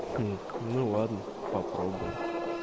ну ладно попробуем